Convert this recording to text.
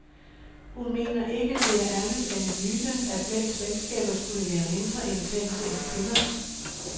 Hun mener ikke, det er andet end en myte, at mænds venskaber skulle være mindre intense end kvinders.